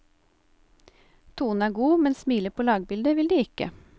Tonen er god, men smile på lagbildet vil de ikke.